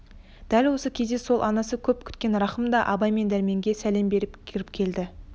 дәл осы кезде сол анасы көп күткен рахым да абай мен дәрменге сәлем бере кіріп келді